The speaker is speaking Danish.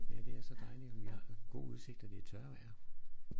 Ja det er så dejligt og vi har god udsigt og det er tørvejr